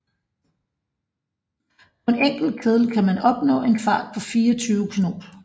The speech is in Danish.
På en enkelt kedel kan man opnå en fart på 24 knob